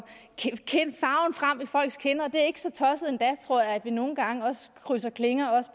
frem i folks kinder og det er ikke så tosset endda tror jeg at vi nogle gang også krydser klinger